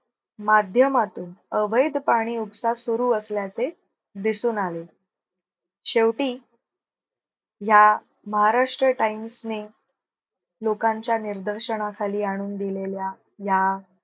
माध्यमातू अवैध पाणी उपसा सुरु असल्याचे दिसून आले. शेवटी या महाराष्ट्र times ने लोकांच्या निर्दर्शनाखाली आणून दिलेल्या या